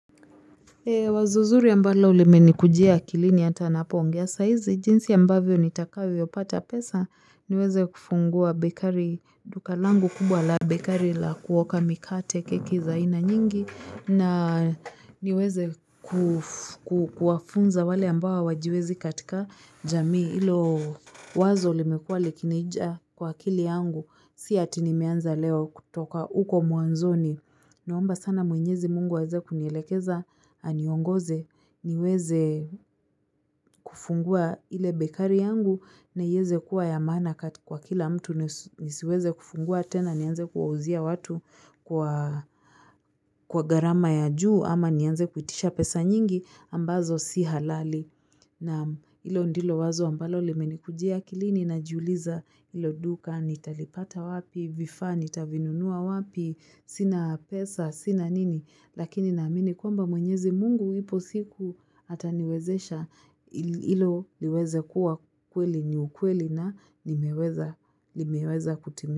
Wazo zuri ambalo limeni kujia akilini atanapoongea saizi jinsi ambavyo nitakavyopata pesa niweze kufungua bekari dukalangu kubwa la bekari la kuoka mikate keki zaina nyingi na niweze kuf ku kuwafunza wale ambao hawajiwezi katika jamii ilo wazo limekuwa likinija kwa akili yangu si ati nimeanza leo kutoka uko mwanzoni. Naomba sana mwenyezi Mungu aweze kunielekeza aniongoze niweze kufungua ile bekari yangu na ieze kuwa ya maana Kat kwa kila mtu nisiweze kufungua tena nianze kuwauzia watu kwa kwa garama ya juu ama nianze kuitisha pesa nyingi ambazo si halali. Nam ilo ndilo wazo ambalo limeni kujia akilini na jiuliza ilo duka, nitalipata wapi, vifaa, nita vinunua wapi, sina pesa, sina nini, lakini na amini kwamba mwenyezi Mungu ipo siku ataniwezesha ili ilo liweze kuwa kweli ni ukweli na nimeweza limeweza kutimi.